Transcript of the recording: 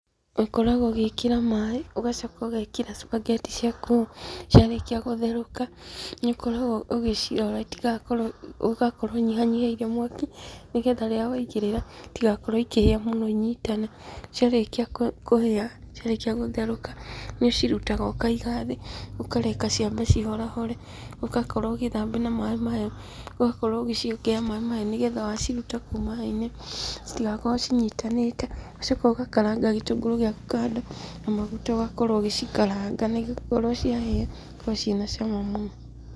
Ũkoragũo ũgĩkĩra maĩ, ũgacoka ũgekĩra spaghetti ciaku, ciarĩkia gũtherũka, nĩũkoragũo ũgĩcioya itigakorũo, ũgakorũo ũnyihanyihĩtie mwaki, nĩgetha rĩrĩa waigĩrĩra, itigakorũo ikĩhĩa mũno inyitane. Ciarĩkia kũhĩa, ciarĩkia gũtherũka, nĩũcirutaga ũkaiga thĩ, ũkareka ciambe cihorahore, ũgakorũo ũgĩthambia na maĩ mahehu, ũgakorũo ũgĩciongerera maĩ mahehu, nĩgetha waciruta kũu maĩinĩ, citigakorũo cinyitanĩte, ũgacoka ũgakaranga gĩtũngũrũ gĩaku kando, na maguta ũgakorũo ũgĩcikaranga nĩgũkorũo ciahĩa, cikoragũo cina cama mũno.